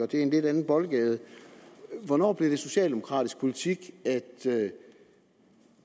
det er i en lidt anden boldgade hvornår blev det socialdemokratisk politik at